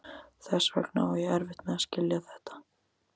Þess vegna á ég erfitt með að skilja þetta.